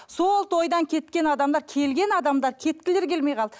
сол тойдан кеткен адамдар келген адамдар кеткілері келмей қалды